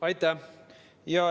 Aitäh!